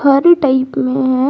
हरे type में है।